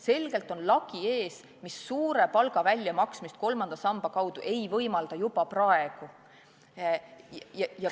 Selgelt on ees lagi, mis suure palga väljamaksmist kolmanda samba kaudu ei võimalda juba praegu.